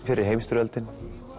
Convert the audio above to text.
fyrri heimsstyrjöldin